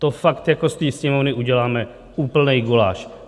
To fakt jako z té Sněmovny uděláme úplný guláš.